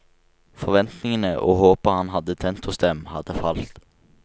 Forventningene og håpet han hadde tent hos dem, hadde falt.